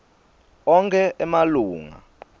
onkhe emalunga